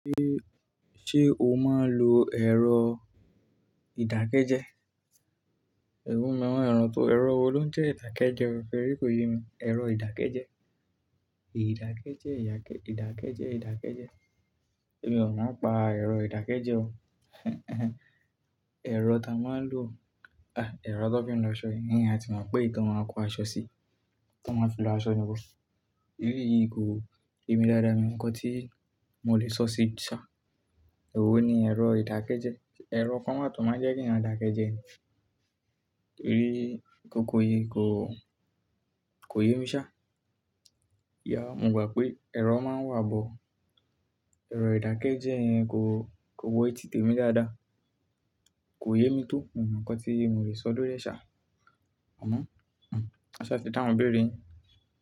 Ṣé, ṣe o máa ń lo ẹ̀rọ ìdákẹ́jẹ? Ẹ̀rọ wo ló ń jẹ́ ìdákẹ́jẹ? Rí kò yé mi. Ẹ̀rọ ìdákẹ́jẹ? Ìdákẹ́jẹ́, ìdákẹ́jẹ́, ìdákẹ́jẹ́. Èmi ò mọ̀ n pa ẹ̀rọ ìdákẹ́jẹ́ o. Ẹ̀rọ tá a máa ń lo, ah, ẹ̀rọ tó fi ń lọ aṣọ iyẹn ati mo pè éyi to n máa kó aṣọ sí i, tí wọ́n máa fi lo aṣọ èyí yìí kò, yèmi daada mi nǹkan tí mo lè sọ sí i ṣá. Ẹ̀rọ wo ni ẹ̀rọ ìdákẹ́jẹ́? Ẹ̀rọ kan máa tó máa jẹ́ kí eeyan dákẹjẹ́ ni? Èyí kòkó yìí kò, kò yé mi ṣá. Ya, mo gbà pé ẹ̀rọ máa ń wà bo ẹ̀rọ ìdákẹ́jẹ́ yẹn kò, kò wo eti tèmi dáadáa. Kò yé mi tó, mi o mo nkan tí mo lè sọ lo ori e ṣá. À mo, a ṣá ti dá hun ibéèrè yin.